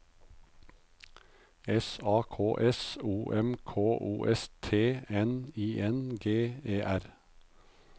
S A K S O M K O S T N I N G E R